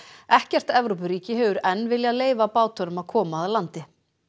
ekkert Evrópuríki hefur enn viljað leyfa bátunum að koma að landi